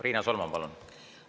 Riina Solman, palun!